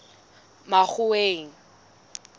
makgoweng